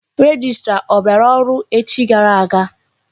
Rejistra ọ bịara ọrụ echi gara aga?